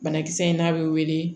Banakisɛ in n'a bɛ wele